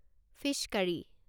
fees কাৰি